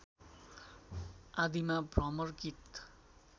आदिमा भ्रमर गीत